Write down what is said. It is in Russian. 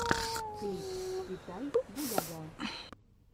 клип китай бугага